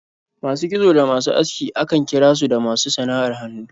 Masu kitso da masu aski akan kira su da masu sana'ar hannu.